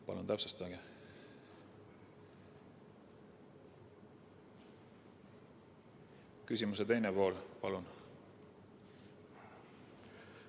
Palun täpsustage küsimuse teist poolt!